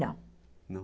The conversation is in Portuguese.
Não. Não!?